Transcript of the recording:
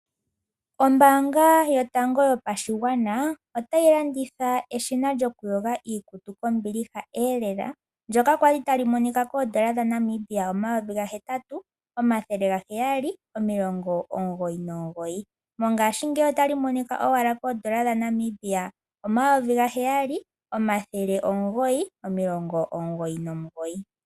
Ombanga yotango yopashigwana ota yi landitha eshina lyokuyoga iikutu kombiliha lela ndyoka kwali tali monika koondola dhaNamibia omayovi gahetatu omathele gaheyali nomilongo omugoyi nomugoyi mongaashingeyi ota li monika owala koondola dhaNamibia omayovi gaheyali omathele omugoyi nomilongo omugoyi nomugoyi.